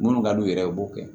Minnu ka d'u yɛrɛ ye u b'o kɛ